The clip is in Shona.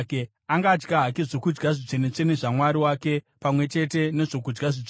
Angadya hake zvokudya zvitsvene-tsvene zvaMwari wake, pamwe chete nezvokudya zvitsvene;